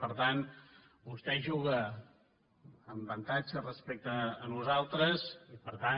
per tant vostè juga amb avantatge respecte a nosaltres i per tant